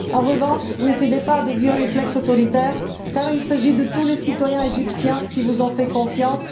En revanche, ne cédez pas à de vieux réflexes autoritaires car il s'agit de tous les citoyens égyptiens qui vous ont fait confiance.